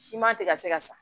Siman tɛ ka se ka sa